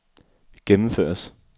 gennemføres